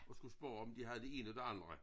Og skulle spørge om de havde det ene og det andet